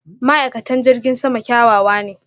ma'aikatan jirgin sama kyawawa ne.